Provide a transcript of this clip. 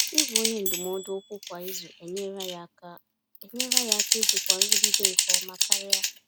Ịgwa onye ndụmọdụ okwu kwa izu enyerela ya aka enyerela ya aka ijikwa nrụgide nke ọma karịa.